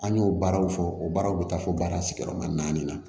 An y'o baaraw fɔ o baaraw bɛ taa fɔ baara sigiyɔrɔma naani na